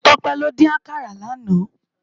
Tope ló din àkàrá làná